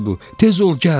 Tez ol gəl!